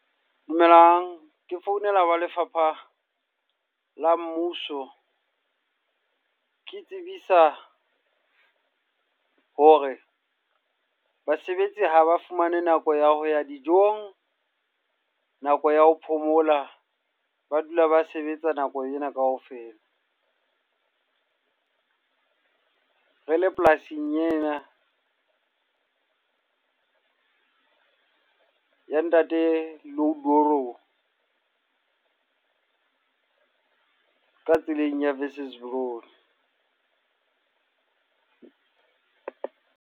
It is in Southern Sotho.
Dumelang. Ke founela wa lefapha la mmuso. Ke tsebisa hore basebetsi ha ba fumane nako ya ho ya dijong, nako ya ho phomola, ba dula ba sebetsa nako ena kaofela. Re le polasing ena ya ntate ka tseleng ya Wesselsbron.